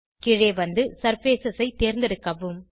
கீழே வந்து சர்ஃபேஸ் ஐ தேர்ந்தெடுக்கவும்